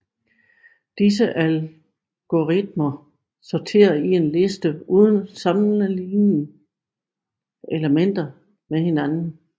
Disse algoritmer sorter en liste uden at sammenligne elementerne med hinanden